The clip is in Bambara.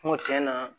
Kuma tiɲɛna